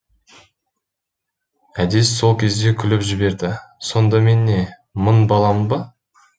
әдес сол кезде күліп жіберді сонда мен не мың баламын ба